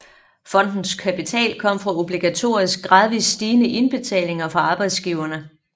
Fondens kapital kom fra obligatoriske gradvist stigende indbetalinger fra arbejdsgiverne